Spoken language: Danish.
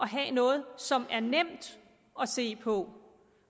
have noget som er nemt at se på